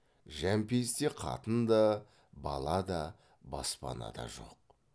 жәмпейісте қатын да бала да баспанада да жоқ